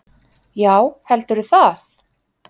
Já heldurðu það?